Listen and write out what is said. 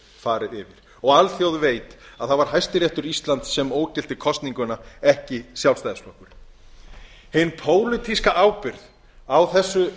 farið yfir og alþjóð veit að það var hæstiréttur íslands sem ógilti kosninguna ekki sjálfstæðisflokkurinn hin pólitíska ábyrgð á þessu